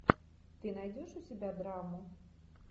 ты найдешь у себя драму